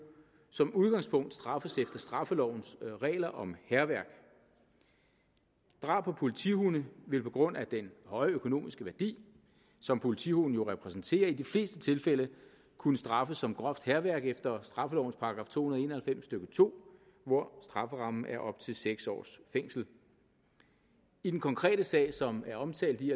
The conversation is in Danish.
som udgangspunkt straffes efter straffelovens regler om hærværk drab på politihunde vil på grund af den høje økonomiske værdi som politihunde jo repræsenterer i de fleste tilfælde kunne straffes som groft hærværk efter straffelovens § to hundrede og en og halvfems stykke to hvor strafferammen er op til seks års fængsel i den konkrete sag som er omtalt i